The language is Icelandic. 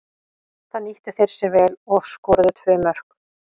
Það nýttu þeir sér vel og skoruðu tvö mörk.